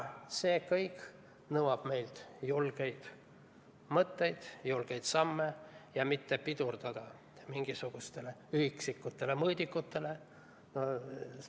See kõik nõuab meilt julgeid mõtteid, julgeid samme ja otsust mitte pidurdada protsessi mingisuguste üksikute mõõdikutega.